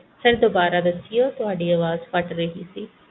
ਦੁਬਾਰਾ ਦਸਿਓ ਤੂਹੈ ਅਵਾਜ ਕੱਟ ਰਹੀ ਏ